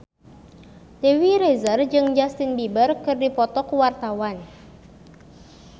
Dewi Rezer jeung Justin Beiber keur dipoto ku wartawan